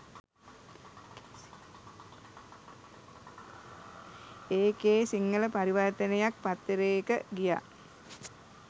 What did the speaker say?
එකේ සිංහල පරිවර්ථනයක් පත්තරේක ගියා